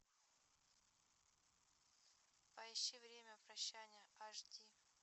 поищи время прощания аш ди